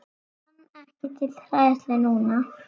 Fann ekki til hræðslu núna.